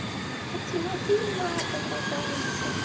а тимофей матом ругается